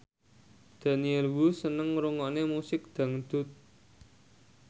Daniel Wu seneng ngrungokne musik dangdut